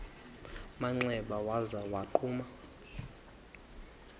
manxeba waza wagquma